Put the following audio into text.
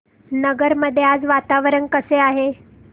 नगर मध्ये आज वातावरण कसे आहे